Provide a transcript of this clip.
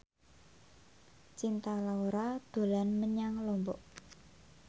Cinta Laura dolan menyang Lombok